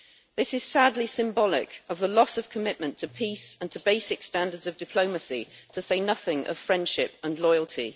This is sadly symbolic of the loss of commitment to peace and to basic standards of diplomacy, to say nothing of friendship and loyalty.